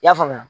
I y'a faamuya